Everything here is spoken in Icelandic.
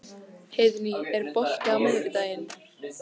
Heiðný, er bolti á miðvikudaginn?